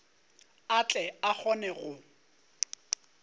a tle a kgone go